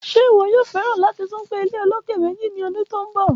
Ṣe iwọ yoo fẹ lati tun gbe ilé oloke meji ni ọdun to nbọ?